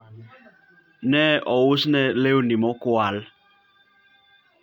ne ousne lewni mokwal